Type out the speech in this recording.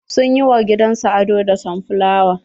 Sun yi wa gidan su ado da sunflower.